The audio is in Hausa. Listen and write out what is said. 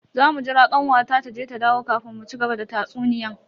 Zamu jira kanwata taje ta dawo kafin mu cigaba da tatsuniyan.